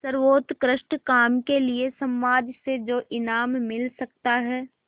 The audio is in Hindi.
सर्वोत्कृष्ट काम के लिए समाज से जो इनाम मिल सकता है